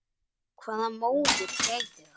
Hvaða móðir gæti það?